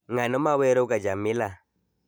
Ng'ano maweroga jamila